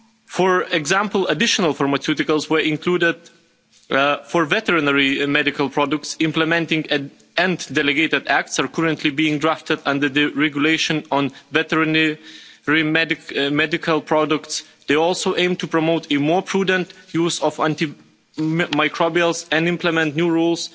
For example, additional pharmaceuticals were included for veterinary and medical products, and implementing and delegated acts are currently being drafted under the regulation on veterinary medical products. They also aim to promote more prudent use of antimicrobials and implement new rules